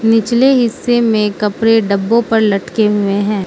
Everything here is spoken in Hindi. निचले हिस्से में कपड़े डब्बों पर लटके हुए हैं।